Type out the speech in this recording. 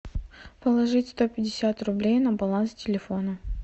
положить сто пятьдесят рублей на баланс телефона